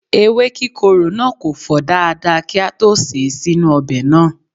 Ewe kikoro na ko fo dada ki a to se e sinu obe naa